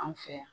An fɛ yan